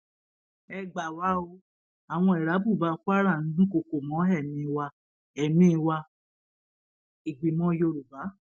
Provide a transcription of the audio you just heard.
ẹ gbà wá o àwọn irábùbà kwara ń dúnkookò mọ ẹmí wa ẹmí wa ìgbìmọ yorùbá